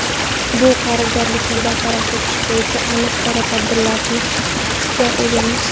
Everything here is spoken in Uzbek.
Bu qarzdorlikni bartaraf etish bo‘yicha aniq chora-tadbirlarga egamiz.